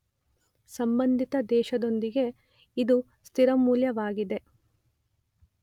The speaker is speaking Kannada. ಸಂಭಂದಿತ ದೇಶದೊಂದಿಗೆ ಇದು ಸ್ಥಿರ ಮೌಲ್ಯವಾಗಿದೆ